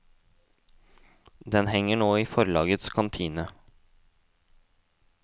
Den henger nå i forlagets kantine.